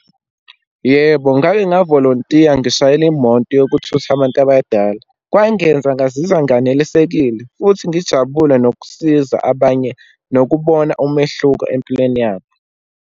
Yebo, ngake ngavolontiya ngishayela imoto yokuthutha abantu abadala. Kwangenza ngazizwa nganelisekile, futhi ngijabule nokusiza abanye, nokubona umehluko empilweni yabo.